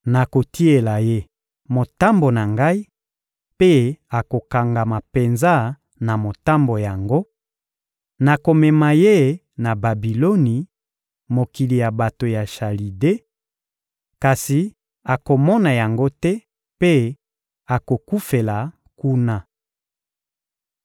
Nakotiela ye motambo na Ngai, mpe akokangama penza na motambo yango; nakomema ye na Babiloni, mokili ya bato ya Chalide; kasi akomona yango te mpe akokufela kuna.